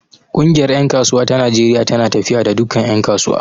Ƙungiyar ƴan kasuwa ta Najeriya tana tafiya da dukkan ƴan kasuwa.